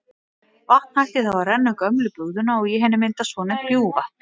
Vatn hættir þá að renna um gömlu bugðuna og í henni myndast svonefnt bjúgvatn.